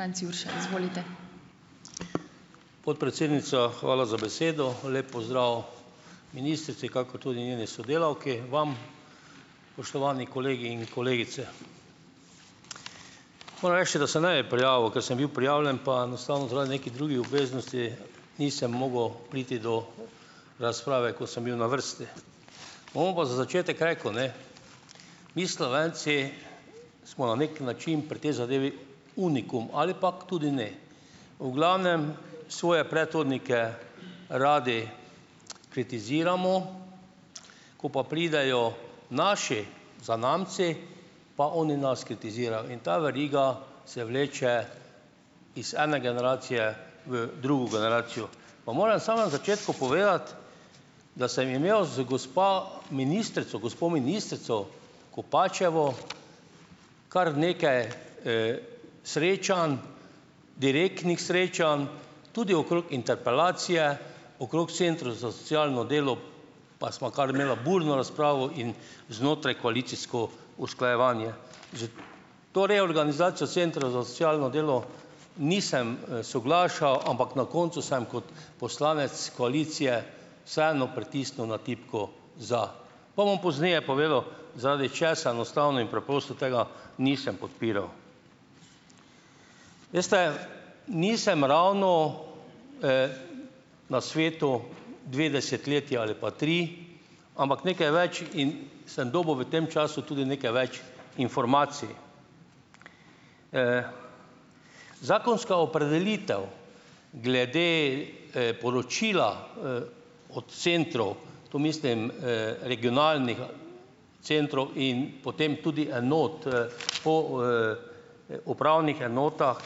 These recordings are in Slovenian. anc Jurša, izvolite. Podpredsednica, hvala za besedo. Lep pozdrav ministrici kakor tudi njeni sodelavki, vam, kolegi in kolegice! Moram reči, da se ne bi prijavil, ke sem bil prijavljen pa enostavno zaradi nekih drugih obveznosti nisem mogel priti do razprave, ko sem bil na vrsti. pa za začetek rekel, ne, mi, Slovenci, smo na neki način pri tej zadevi unikum ali pa tudi ne. V glavnem, svoje predhodnike radi, kritiziramo, ko pa pridejo naši zanamci, pa oni nas kritizirajo, in ta veriga se vleče iz ene generacije v drugo generacijo. Pa moram sam na začetku povedati, da sem imel z gospa ministrico gospo ministrico Kopačevo kar nekaj, srečanj, direktnih srečanj, tudi okrog interpelacije, okrog centrov za socialno delo, pa sva kar imela burno razpravo in znotrajkoalicijsko usklajevanje. S to reorganizacijo centrov za socialno delo nisem, soglašal, ampak na koncu sem kot poslanec koalicije vseeno pritisnil na tipko za, pa bom pozneje povedal, zaradi česa enostavno in preprosto tega nisem podpiral. Veste, nisem ravno, na svetu dve desetletji ali pa tri, ampak nekaj več in sem dobil v tem času tudi nekaj več informacij. Zakonska opredelitev glede, poročila, od centrov, tu mislim, regionalnega centrov in potem tudi enot, upravnih enotah,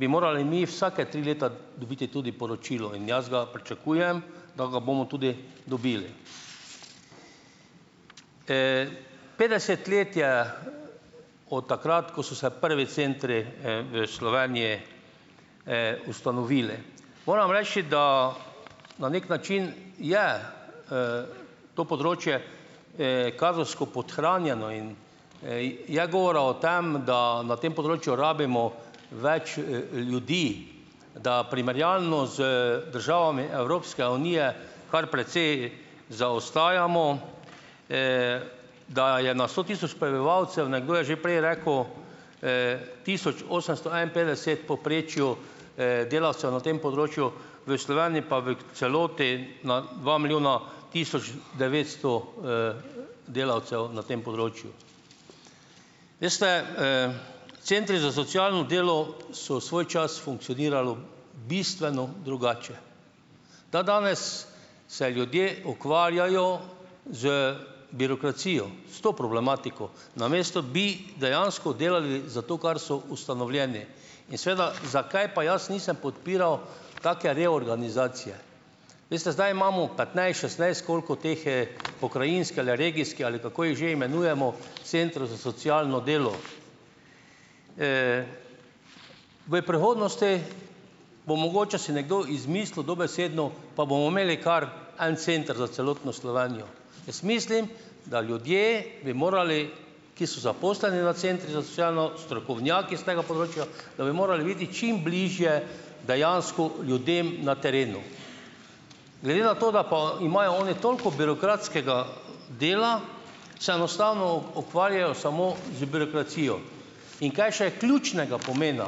bi morali mi vsake tri leta dobiti tudi poročilo, in jaz ga pričakujem, da ga bomo tudi dobili. petdeset let je od takrat, ko so se prvi centri, v Slovenji, ustanovili. Moram reči, da na neki način je, to področje, kadrovsko podhranjeno, in, je govora o tem, da na tem področju rabimo več, ljudi, da primerjalno z državami Evropske unije kar precej zaostajamo, da je na sto tisoč prebivalcev, nekdo je že prej rekel, tisoč osemsto enainpetdeset povprečju, delavcev na tem področju, v pa v celoti na dva milijona tisoč devetsto, delavcev na tem področju. Veste, centri za socialno delo so svoj čas funkcionirali bistveno drugače. Dandanes se ljudje ukvarjajo z birokracijo, s to problematiko, namesto bi dejansko delali za to, kar so ustanovljeni. In seveda zakaj pa jaz nisem podpiral take reorganizacije. Veste, zdaj imamo petnajst, šestnajst, koliko teh je, pokrajinske ali regijske, ali kako jih že imenujemo, centrov za socialno delo. V prihodnosti bo mogoče si nekdo izmislil, dobesedno, pa bomo imeli kar en center za celotno Slovenijo. Jaz mislim, da ljudje bi morali, ki so zaposleni na centrih za socialno, strokovnjaki iz tega področja, da bi morali biti čim bližje dejansko ljudem na terenu. Glede na to, da pa imajo oni toliko birokratskega dela, se enostavno ukvarjajo samo z birokracijo. In kaj še ključnega pomena,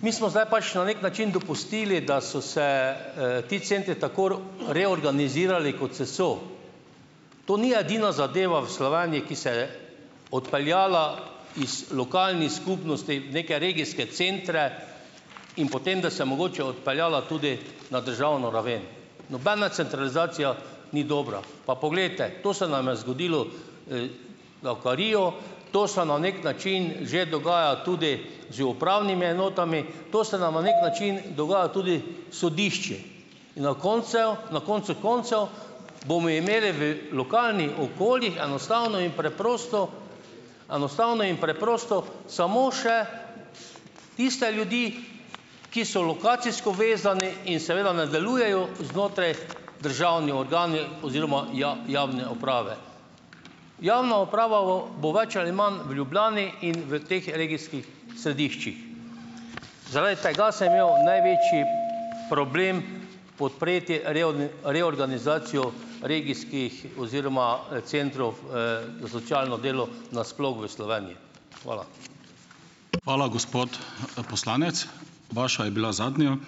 mi smo zdaj pač na neki način dopustili, da so se, ti centri tako reorganizirali, kot se so. To ni edina zadeva v Slovenji, ki se je odpeljala iz lokalnih skupnosti v neke regijske centre in potem, da se mogoče odpeljala tudi na državno raven. Nobena centralizacija ni dobra, pa poglejte, to se nam je zgodilo, davkarijo, to se na neki način že dogaja tudi z upravnimi enotami. To se nam na neki način dogaja tudi s sodišči. In na koncev koncu koncev bomo imeli v lokalnih okoljih enostavno in preprosto enostavno in preprosto samo še tiste ljudi, ki so lokacijsko vezani in seveda ne delujejo znotraj državni organi oziroma javne uprave. Javna uprava bo več ali manj v Ljubljani in v teh regijskih središčih. Zaradi tega sem imel največji problem podpreti reorganizacijo regijskih oziroma centrov, za socialno delo nasploh v Slovenji. Hvala. Hvala, gospod poslanec. Vaša je bila zadnja ...